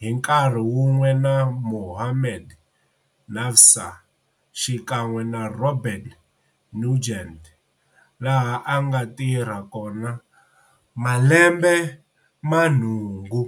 hi nkarhi wun'we na Mahomed Navsa xikan'we na Robert Nugent, laha a nga tirha kona malembe ya nhungu.